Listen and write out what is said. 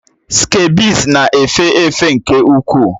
Skebiịs na-efe efe nke ukwuu